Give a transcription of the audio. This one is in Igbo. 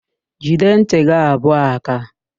Jide ntị gị abụọ áká!